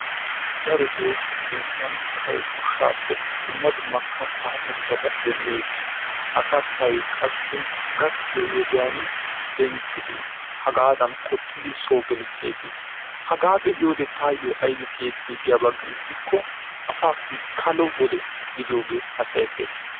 Daroto asay nu biitan goshshaappe dumma dumma kattaa murutaa demmees. ha kattay qassi gakkiyo wodiyan denttidi hagaadan qoxcidi so gelseesi. Hagaa be"iyode taayo ayibi siyeti giyaba giiko asaasi kalo wode gidiyooge hassayetteesi.